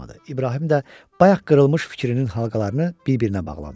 İbrahim də bayaq qırılmış fikrinin halqalarını bir-birinə bağladı.